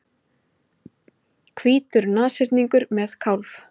Hvítur nashyrningur með kálf.